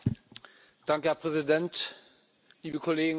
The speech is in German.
Herr Präsident, liebe Kolleginnen und Kollegen!